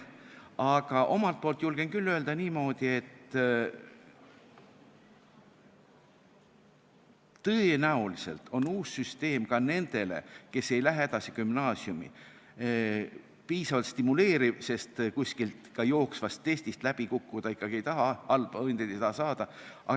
Aga omalt poolt julgen küll öelda niimoodi, et tõenäoliselt on uus süsteem ka nendele, kes ei lähe edasi gümnaasiumi, piisavalt stimuleeriv, sest kuskilt ka jooksvast testist läbi kukkuda ikkagi ei taha, halbu hindeid ei taha saada.